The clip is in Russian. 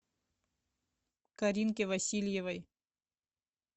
каринке васильевой